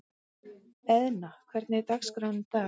Eðna, hvernig er dagskráin í dag?